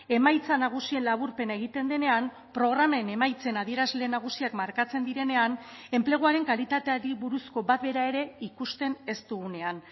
emaitza nagusien laburpena egiten denean programen emaitzen adierazle nagusiak markatzen direnean enpleguaren kalitateari buruzko bat bera ere ikusten ez dugunean